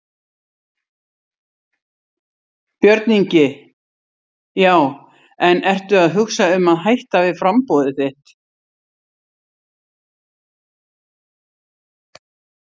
Björn Ingi: Já en ertu að hugsa um að hætta við framboðið þitt?